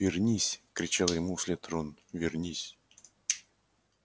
вернись кричал ему вслед рон вернись